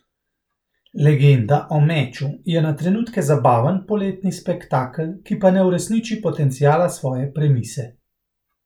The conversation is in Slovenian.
Legenda o meču je na trenutke zabaven poletni spektakel, ki pa ne uresniči potenciala svoje premise.